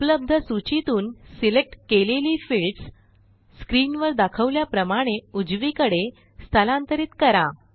उपलब्ध सूचीतून सिलेक्ट केलेली फिल्डस स्क्रीनवर दाखवल्याप्रमाणे उजवीकडे स्थलांतरित करा